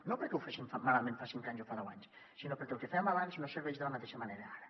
no perquè ho féssim malament fa cinc anys o fa deu anys sinó perquè el que fèiem abans no serveix de la mateixa manera ara